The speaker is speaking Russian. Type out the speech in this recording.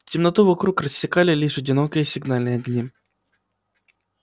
темноту вокруг рассекали лишь одинокие сигнальные огни